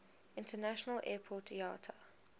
international airport iata